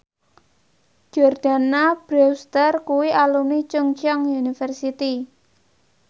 Jordana Brewster kuwi alumni Chungceong University